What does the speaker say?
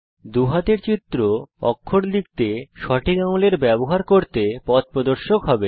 দুই হাতের চিত্র আপনার অক্ষর লিখতে সঠিক আঙুলের ব্যবহার করতে পথপ্রদর্শক হবে